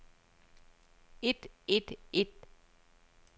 et et et